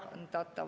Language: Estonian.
Aeg!